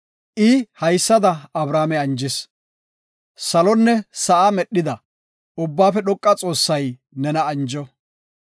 I haysada Abrame anjis; “Salonne sa7a medhida, Ubbaafe Dhoqa Xoossay nena anjo.